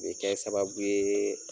U bɛ kɛ sababu ye